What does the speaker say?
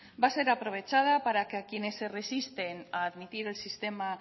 va a ser aprovechada para que a quienes se resisten a admitir el sistema